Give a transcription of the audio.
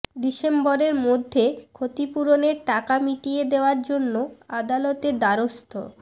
ডিসেম্বরের মধ্যে ক্ষতিপূরণের টাকা মিটিয়ে দেওয়ার জন্য আদালতের দ্বারস্থ